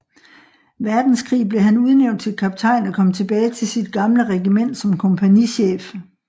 Verdenskrig blev han udnævnt til kaptajn og kom tilbage til sit gamle regiment som kompagnichef